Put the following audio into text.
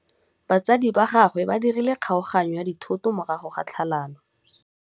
Batsadi ba gagwe ba dirile kgaoganyô ya dithoto morago ga tlhalanô.